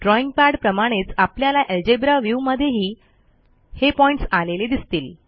drawing pad प्रमाणेच आपल्याला algebra view मध्येही हे पॉईंटस आलेले दिसतील